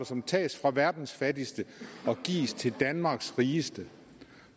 som tages fra verdens fattigste og gives til danmarks rigeste